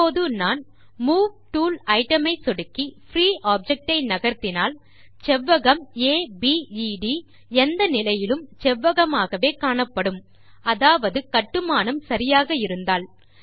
இப்போது நான் move tool item ஐ சொடுக்கி பிரீ ஆப்ஜெக்ட் ஐ நகர்த்தினால் செவ்வகம் அபேத் எந்த நிலையிலும் செவ்வகமாகவே காணப்படும் அதாவது கட்டுமானம் சரியாக இருந்தால்